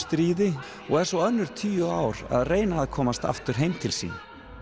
Trójustríði og er svo önnur tíu ár að reyna að komast aftur heim til sín